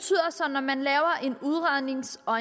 når man laver en udrednings og